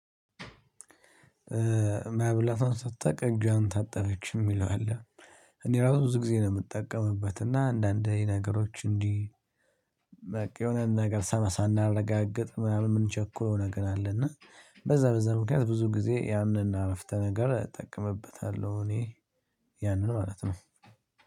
መብላቷን ሳታቅ እጇን ታጠበች የሚለው አለ። እኔ ራሱ ብዙ ጊዜ ነው የምጠቀምበት እና አንዳንዴ ነገሮች እንዲህ በቃ የሆነ ነገር ሳም ሳናረጋግጥ ምናምን የምንቸኩለው ነገር አለ። እና በዛ በዛ ምክንያት ብዙ ጊዜ ያንን እና አረፍተ ነገር እጠቀምበታለሁ እኔ። ያንን ማለት ነው።